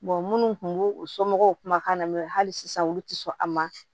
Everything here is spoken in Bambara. minnu kun b'u u somɔgɔw kumakan na hali sisan olu ti sɔn a ma